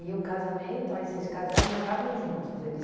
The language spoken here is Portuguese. o casamento, aí vocês casaram, moravam juntos? Ele